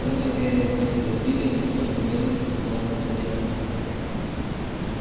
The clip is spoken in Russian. он не верил ни в изобилие ни в то что мельница сэкономит время